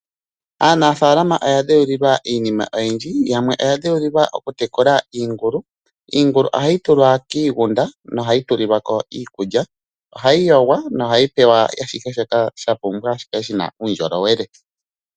Aanafaalama oya dheulilwa iinima oyindji Yamwe oya dheulilwa okutekula iingulu. Iingulu ohayi tulwa kiigunda nohayi tulilwa ko iikulya. Ohayi yogwa nohayi pewa ashihe shoka sha pumbwa shi kale shina uundjolowele.